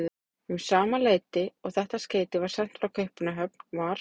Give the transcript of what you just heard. Um sama leyti og þetta skeyti var sent frá Kaupmannahöfn, var